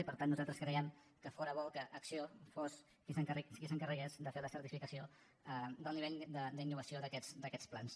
i per tant nosaltres creiem que fóra bo que acció fos qui s’encarregués de fer la certificació del nivell d’innovació d’aquests plans